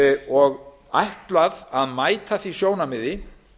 og ætlaði að mæta því sjónarmiði